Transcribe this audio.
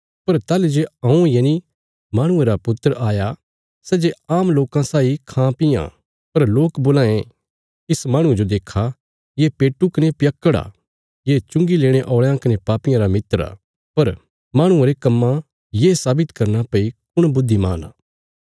पर ताहली जे हऊँ यनि माहणुये रा पुत्र आया सै जे आम लोकां साई खांपीआं पर लोक बोलां ये इस माहणुये जो देक्खा ये पेटू कने पियक्कड़ आ ये चुंगी लेणे औल़यां कने पापियां रा मित्र आ पर माहणुये रे कम्मां ये सावित करना भई कुण बुद्धिमान आ